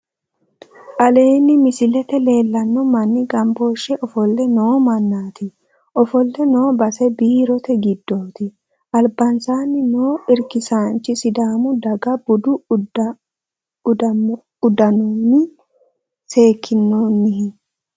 Aleenni misilete leellanno manni gambooshshe ofolle noo mannaati. Ofolle noo base biirote giddoti. Albansaanni noo irkisaanchi sidaamu daga budu udanommi sekkinoonnihi.